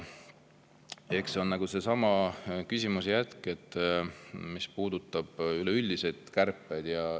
Eks see on sellesama küsimuse jätk, mis puudutab üleüldiseid kärpeid.